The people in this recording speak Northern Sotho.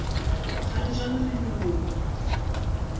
ga re jane re moloko